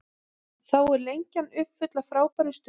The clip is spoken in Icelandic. Þá er Lengjan uppfull af frábærum stuðlum.